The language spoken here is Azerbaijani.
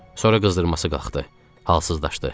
Sonra qızdırması qalxdı, halsızlaşdı.